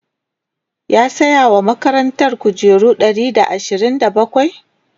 ya saya wa makarantan kujeru Ɗari da ashirin da bakwai?